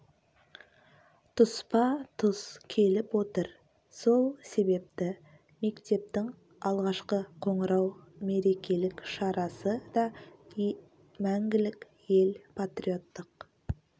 тұспа тұс келіп отыр сол себепті мектептің алғашқы қоңырау мерекелік шарасы да мәңгілік ел патриоттық